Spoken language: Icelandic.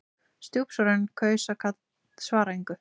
Stjúpsonurinn kaus að svara engu.